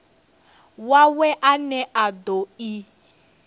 wawe ane a do i